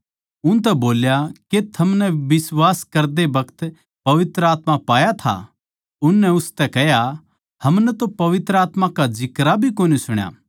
उनतै बोल्या के थमनै बिश्वास करदे बखत पवित्र आत्मा पाया था उननै उसतै कह्या हमनै तो पवित्र आत्मा का जिक्रा भी कोनी सुण्या